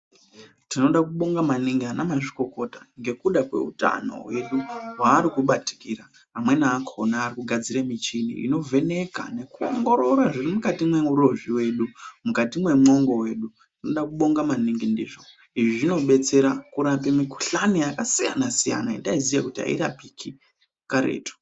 Tinoda kubonga maningi ana mazvikokota ngekuda kweutano hwedu hwavari kubatikira. Amweni akhona arikugadzire michini inovheneka nekuongorora zviri mukati mweurozvi hwedu. Mukati mwongo wedu. Izvi zvinodetsera kurape mikhulani yakasiyana -siyana yataiziya kuti airapiki karetu.